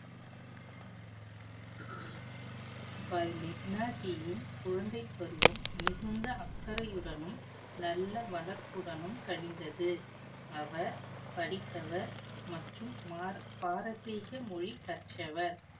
பாய் லெக்னாஜியின் குழந்தைப் பருவம் மிகுந்த அக்கறையுடனும் நல்ல வளர்ப்புடனும் கழிந்தது அவர் படித்தவர் மற்றும் மார~ பாரசீக மொழி கற்றவர்